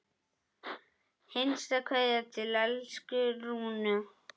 HINSTA KVEÐJA Til elsku Rúnu.